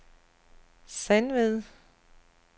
Sandved